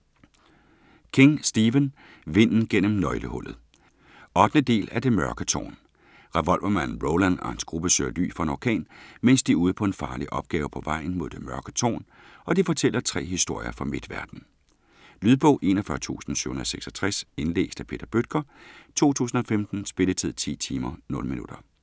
King, Stephen: Vinden gennem nøglehullet 8. del af Det mørke tårn. Revolvermanden Roland og hans gruppe søger ly for en orkan, mens de er ude på en farlig opgave på vejen mod Det Mørke Tårn, og de fortæller 3 historier fra Midtverden. Lydbog 41766 Indlæst af Peter Bøttger, 2015. Spilletid: 10 timer, 0 minutter.